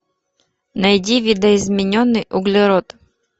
найди видоизмененный углерод